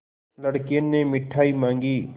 लड़के ने मिठाई मॉँगी